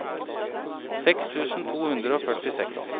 seks tusen to hundre og førtiseks